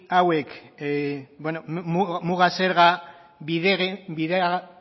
hauek bueno muga zerga